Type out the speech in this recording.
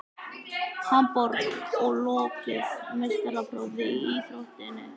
Hamborg og lokið meistaraprófi í íþróttinni.